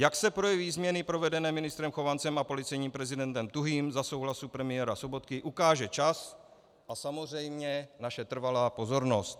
Jak se projeví změny provedené ministrem Chovancem a policejním prezidentem Tuhým za souhlasu premiéra Sobotky, ukáže čas a samozřejmě naše trvalá pozornost.